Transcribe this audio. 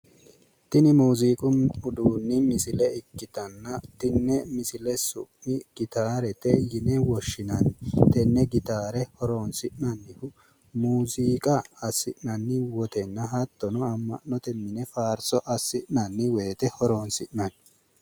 Tini mooziiqu uduunni misile ikkitanna tenne misile su'ma gitaarete yine woshshinanni tenne gitaare horoonsi'nannihu muuziiqa assi'nanni woy amma'note mine faarso assi'nanni woyte horoonsi'nanni